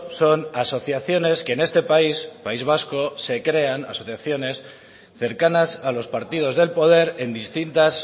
son asociaciones que en este país país vasco se crean asociaciones cercanas a los partidos del poder en distintas